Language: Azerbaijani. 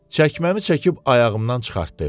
Çəkməmi çəkib ayağımdan çıxartdı.